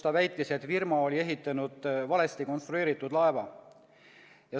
Ta väitis, et firma oli ehitanud valesti konstrueeritud laeva.